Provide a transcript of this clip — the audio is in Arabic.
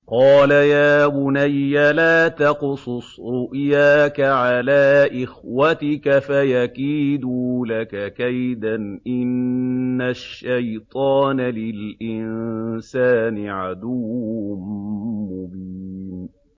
قَالَ يَا بُنَيَّ لَا تَقْصُصْ رُؤْيَاكَ عَلَىٰ إِخْوَتِكَ فَيَكِيدُوا لَكَ كَيْدًا ۖ إِنَّ الشَّيْطَانَ لِلْإِنسَانِ عَدُوٌّ مُّبِينٌ